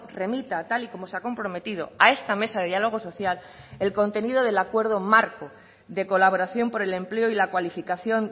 remita tal y como se ha comprometido a esta mesa de diálogo social el contenido del acuerdo marco de colaboración por el empleo y la cualificación